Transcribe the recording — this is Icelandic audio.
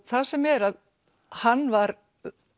það sem er að hann var